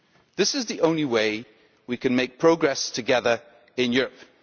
This is the only way we can make progress together in Europe.